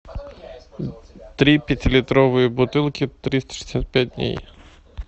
три пятилитровые бутылки триста шестьдесят пять дней